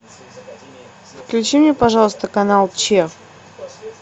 включи мне пожалуйста канал че